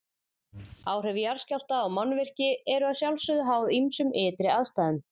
Áhrif jarðskjálfta á mannvirki eru að sjálfsögðu háð ýmsum ytri aðstæðum.